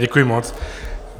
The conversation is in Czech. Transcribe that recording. Děkuji moc.